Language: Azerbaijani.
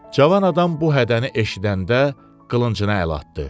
Cavan adam bu hədəni eşidəndə qılıncını ələ atdı.